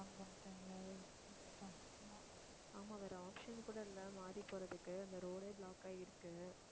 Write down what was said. ஆமா, வேற option கூட இல்லை மாறி போறதுக்கு அந்த road ஏ block ஆயிருக்கு